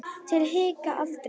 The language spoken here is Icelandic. Til að hika aldrei.